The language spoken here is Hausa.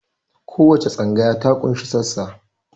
Kowace tsangaya ta ƙunshi sassa